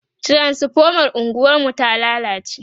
transifomar unguwar mu ta lallace